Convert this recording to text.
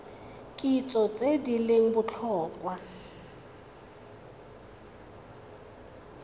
kitso tse di leng botlhokwa